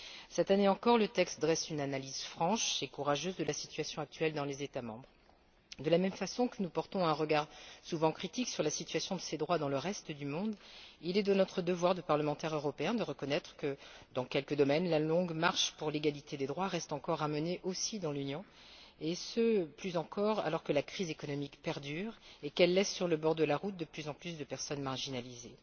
Cette année encore, le texte dresse une analyse franche et courageuse de la situation actuelle dans les États membres. De la même façon que nous portons un regard souvent critique sur la situation de ces droits dans le reste du monde, il est de notre devoir de parlementaire européen de reconnaître que, dans quelques domaines, la longue marche pour l'égalité des droits reste encore à mener aussi dans l'Union, et ce plus encore alors que la crise économique perdure et qu'elle laisse sur le bord de la route de plus en plus de personnes marginalisées.